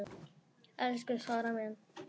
Elsku Þóra mín.